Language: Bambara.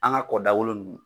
An ga kɔ dagolo nunnu